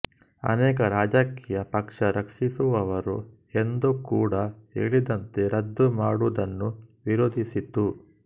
ಅನೇಕ ರಾಜಕೀಯ ಪಕ್ಷ ರಕ್ಷಿಸುವವರು ಎಂದು ಕೂಡಾ ಹೇಳಿದಂತೆ ರದ್ದು ಮಾಡುವದನ್ನು ವಿರೋಧಿಸಿತು